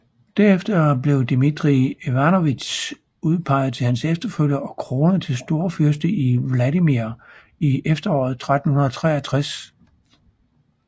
Derefter blev Dmitrij Ivanovitj udpeget til hans efterfølger og kronet til storfyrste i Vladimir i efteråret 1363